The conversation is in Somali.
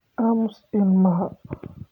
Aamus ilmaha